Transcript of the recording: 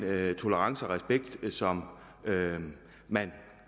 tolerance og respekt som man